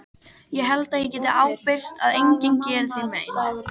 Ég held ég geti ábyrgst að enginn geri þér mein.